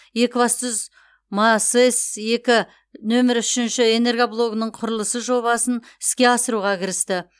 екібастұз масэс екі нөмірі үшінші энергоблогының құрылысы жобасын іске асыруға кірісті